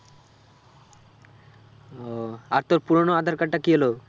ওহ আর তোর পুরোনো আঁধার card টা কি হলো?